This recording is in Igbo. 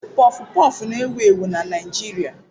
Pọfụ pọfụ na-ewu ewu na Naijiria.